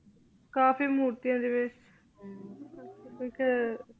ਕਾਫੀ ਮੂਰ੍ਤਿਯਾਂ ਸੀ ਵਿਚ ਕੇ